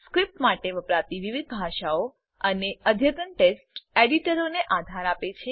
script માટે વપરાતી વિવિધ ભાષાઓ અને અધતન ટેક્સ્ટ એડીટરોને આધાર આપે છે